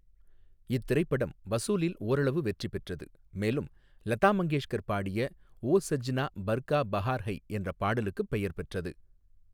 இத்திரைப்படம் வசூலில் ஓரளவு வெற்றி பெற்றது, மேலும் லதா மங்கேஷ்கர் பாடிய 'ஓ சஜ்னா பர்கா பஹார் ஐ' என்ற பாடலுக்குப் பெயர் பெற்றது.